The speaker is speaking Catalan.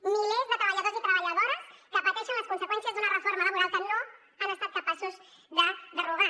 milers de treballadors i treballadores que pateixen les conseqüències d’una reforma laboral que no han estat capaços de derogar